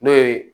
N'o ye